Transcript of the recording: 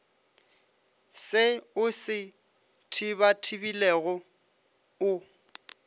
se o se thibathibelago o